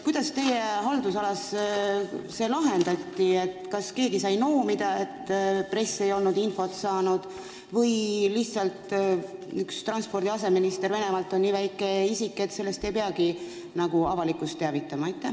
Kuidas teie haldusalas see asi lahendati, kas keegi sai noomida selle eest, et press ei olnud infot saanud, või on lihtsalt üks transpordi aseminister Venemaalt teie arvates nii ebaoluline isik, et sellest ei peagi avalikkust teavitama?